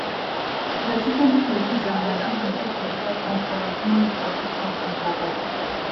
vegetable crayfish and maggi dey dey for inside corn porridge may e for give something for body